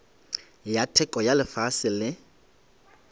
ya theko ya fase le